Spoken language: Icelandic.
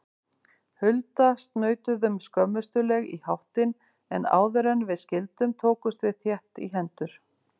Hulda snautuðum skömmustuleg í háttinn, en áðuren við skildum tókumst við þétt í hendur.